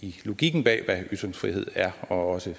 i logikken bag hvad ytringsfrihed er og også i